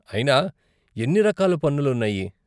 అయినా, ఎన్ని రకాల పన్నులు ఉన్నాయి?